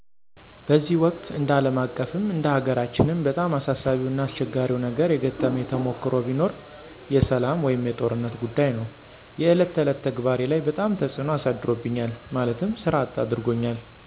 በዚህ ወቅት እንደ አለም አቀፍም እንደ ሀገራችንም በጣም አሳሳቢው እና አስቸጋሪው ነገር የገጠመኝ ተሞክሮ ቢኖር የሰላም ወይም የጦርነት ጉዳይ ነው። የእለት ተዕለት ተግባሬ ላይ በጣም ተፅዕኖ አሳድሮብኛል ማለትም ሥራ አጥ አድርጎኛል።